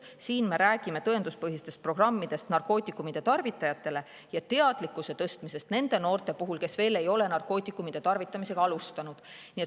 Siin me räägime tõenduspõhistest programmidest narkootikumide tarvitajatele ja teadlikkuse tõstmisest nende noorte puhul, kes veel ei ole narkootikumide tarvitamist alustanud.